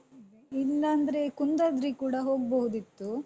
ಹ್ಮ್ ಇಲ್ಲಾಂದ್ರೆ ಕುಂದಾದ್ರಿಗ್ ಕೂಡ ಹೋಗ್ಬೋದಿತ್ತು.